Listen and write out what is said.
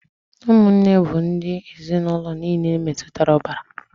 Ụmụnne bụ ndị ezinụlọ niile metụtara ọbara.